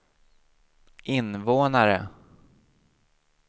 invånare